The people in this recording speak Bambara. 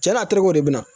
Cɛn na a terikɛw de bɛ na